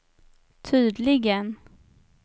tydligen